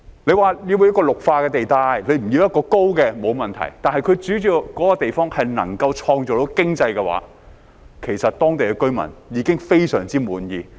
若說要作為綠化地帶，不要建高樓，沒問題，但只要那個地方能夠創造經濟效益的話，其實當地居民已非常滿意。